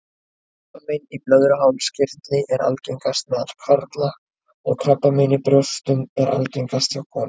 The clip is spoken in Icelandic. Krabbamein í blöðruhálskirtli er algengast meðal karla og krabbamein í brjóstum er algengast hjá konum.